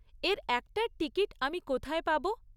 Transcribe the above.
এর একটার টিকিট আমি কোথায় পাব?